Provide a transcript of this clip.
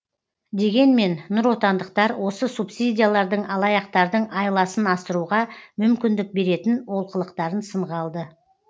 дегенмен нұротандықтар осы субсидиялардың алаяқтардың айласын асыруға мүмкіндік беретін олқылықтарын сынға алды